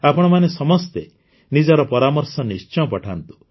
ଆପଣମାନେ ସମସ୍ତେ ନିଜର ପରାମର୍ଶ ନିଶ୍ଚୟ ପଠାନ୍ତୁ